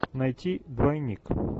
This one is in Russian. найти двойник